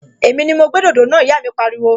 Èmi ni mo gbé dòdò náà! Ìyá mi pariwo